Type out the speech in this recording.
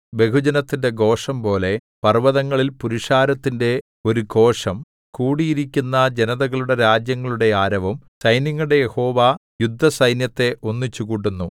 ബഹുജനത്തിന്റെ ഘോഷംപോലെ പർവ്വതങ്ങളിൽ പുരുഷാരത്തിന്റെ ഒരു ഘോഷം കൂടിയിരിക്കുന്ന ജനതകളുടെ രാജ്യങ്ങളുടെ ആരവം സൈന്യങ്ങളുടെ യഹോവ യുദ്ധസൈന്യത്തെ ഒന്നിച്ചുകൂട്ടുന്നു